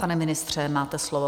Pane ministře, máte slovo.